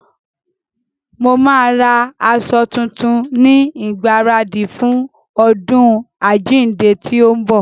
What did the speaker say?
Mo máa ra aṣọ tuntun ní ìgbaradì fún ọdún àjíǹde tí ń bọ̀.